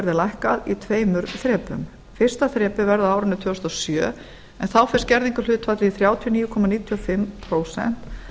verði lækkað í tveimur þrepum fyrsta þrepið verði á árinu tvö þúsund og sjö en þá fer skerðingarhlutfallið í þrjátíu komma níutíu og fimm prósent